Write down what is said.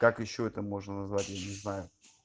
как ещё это можно назвать я не знаю